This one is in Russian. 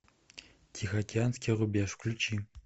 тихоокеанский рубеж включи